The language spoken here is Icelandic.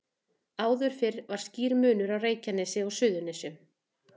Áður fyrr var skýr munur á Reykjanesi og Suðurnesjum.